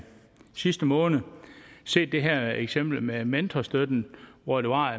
sidste måned set det her eksempel med mentorstøtten hvor der var